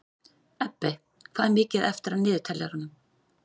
Ebbi, hvað er mikið eftir af niðurteljaranum?